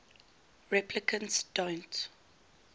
replicants don't